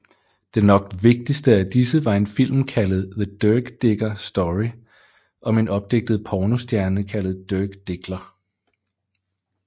Den nok vigtigste af disse var en film kaldet The Dirk Diggler Story om en opdigtet pornostjerne kaldet Dirk Diggler